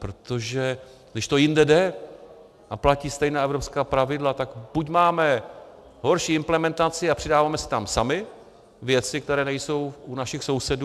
Protože když to jinde jde a platí stejná evropská pravidla, tak buď máme horší implementaci a přidáváme si tam sami věci, které nejsou u našich sousedů.